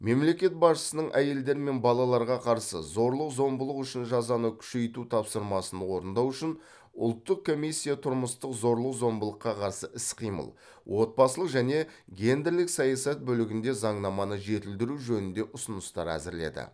мемлекет басшысының әйелдер мен балаларға қарсы зорлық зомбылық үшін жазаны күшейту тапсырмасын орындау үшін ұлттық комиссия тұрмыстық зорлық зомбылыққа қарсы іс қимыл отбасылық және гендерлік саясат бөлігінде заңнаманы жетілдіру жөнінде ұсыныстар әзірледі